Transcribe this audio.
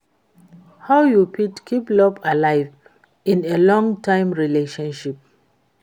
How you fit keep love alive in a long-term relationship?